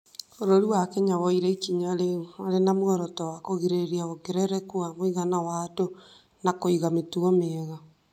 Bũrũri wa Kenya woire ikinya rĩu marĩ na muoroto wa kũgirĩrĩria wongerereku wa mũigana wa andũ na kũiga mĩtugo mĩega.